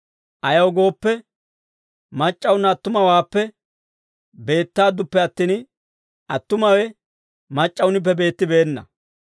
Ayaw gooppe, mac'c'awunna attumawaappe beettaadduppe attin, attumawe mac'c'awunippe beettibeenna.